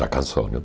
Já cansou, né?